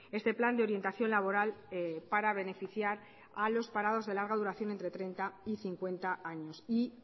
este plan de orientación laboral para beneficiar a los parados de larga duración entre treinta y cincuenta años y